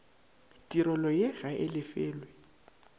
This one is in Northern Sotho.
tirelo ye ga e lefelwe